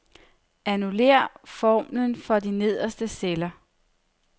Annullér formlen for de nederste celler.